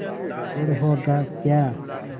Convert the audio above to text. गुड़ होगा क्या